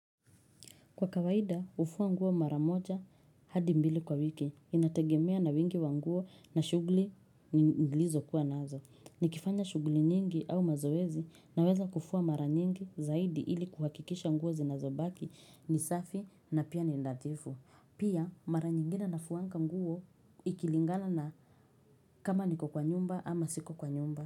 Kwa kawaida, hufua nguo mara moja hadi mbili kwa wiki, inategemea na wingi wa nguo na shughuli nilizokuwa nazo. Nikifanya shughuli nyingi au mazoezi naweza kufua mara nyingi zaidi ili kuhakikisha nguo zinazobaki ni safi na pia ni nadhifu. Pia, mara nyingine nafuwa nguo ikilingana na kama niko kwa nyumba ama siko kwa nyumba.